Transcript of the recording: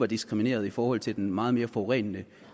diskrimineret i forhold til den meget mere forurenende